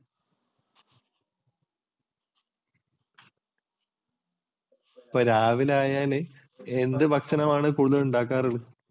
രാവിലെ ആയാല് എന്ത് ഭക്ഷണമാണ് കൂടുതൽ ഉണ്ടാക്കാറുള്ളത്?